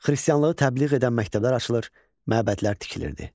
Xristianlığı təbliğ edən məktəblər açılır, məbədlər tikilirdi.